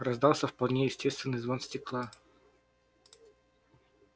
раздался вполне естественный звон стекла